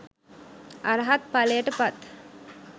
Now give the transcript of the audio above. අරහත් ඵලයට පත්